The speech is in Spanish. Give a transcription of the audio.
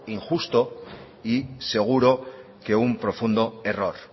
injusto y seguro que un profundo error